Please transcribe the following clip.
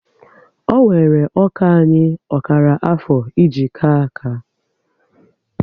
Ọ wéré ọkà anyị ọkara afọ e ji ka áká